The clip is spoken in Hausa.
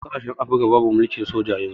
Yawanci kasashen afirka babu mulkin soja yanun